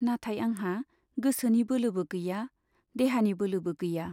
नाथाय आंहा गोसोनि बोलोबो गैया , देहानि बोलोबो गैया।